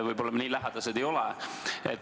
Võib-olla me nii lähedased ei ole.